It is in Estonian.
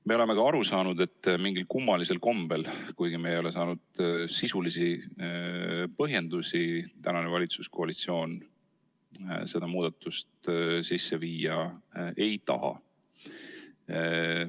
Me oleme ka aru saanud, et mingil kummalisel kombel, kuigi me ei ole saanud sisulisi põhjendusi, praegune valitsuskoalitsioon seda muudatust sisse viia ei taha.